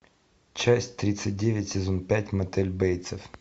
часть тридцать девять сезон пять мотель бейтсов